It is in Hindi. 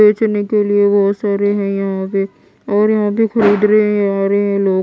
बेचने के लिए बहोत सारे है यहां पे और यहां पे खरीद रहे है आ रहे है लोग--